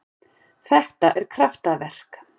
Þetta er kraftaverk.